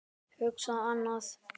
Hugsa annað.